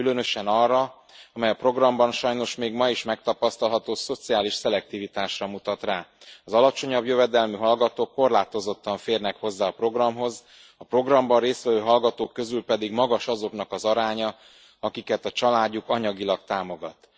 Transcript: Különösen arra, amely a programban sajnos még ma is megtapasztalható szociális szelektivitásra mutat rá az alacsonyabb jövedelmű hallgatók korlátozottan férnek hozzá a programhoz, a programban részt vevő hallgatók közül pedig magas azoknak az aránya, akiket a családjuk anyagilag támogat.